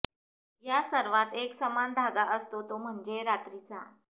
या सर्वांत एक समान धागा असतो तो म्हणजे रात्रीचा